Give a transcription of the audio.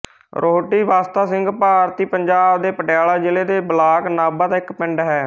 ਰੋਹਟੀ ਬਸਤਾ ਸਿੰਘ ਭਾਰਤੀ ਪੰਜਾਬ ਦੇ ਪਟਿਆਲਾ ਜ਼ਿਲ੍ਹੇ ਦੇ ਬਲਾਕ ਨਾਭਾ ਦਾ ਇੱਕ ਪਿੰਡ ਹੈ